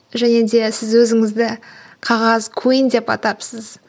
және де сіз өзіңізді қағаз куин деп атапсыз